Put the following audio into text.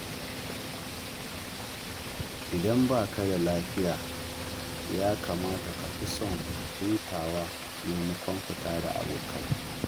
Idan ba ka da lafiya, ya kamata ka fi son hutawa maimakon fita da abokai.